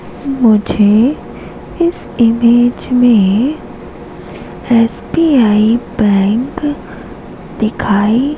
मुझे इस इमेज में एस_बी_आई बैंक दिखाई--